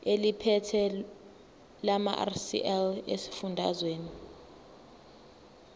eliphethe lamarcl esifundazwe